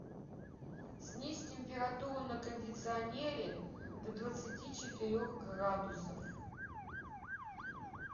снизь температуру на кондиционере до двадцати четырех градусов